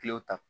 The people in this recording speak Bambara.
Kilew ta